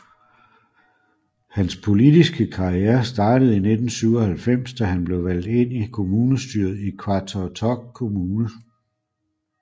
Hans politiske karriere startede i 1997 da han blev valgt ind i kommunestyret i Qaqortoq Kommune